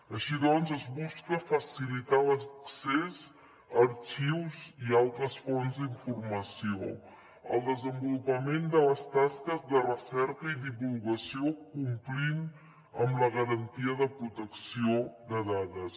així doncs es busca facilitar l’accés a arxius i altres fonts d’informació el desenvolupament de les tasques de recerca i divulgació complint amb la garantia de protecció de dades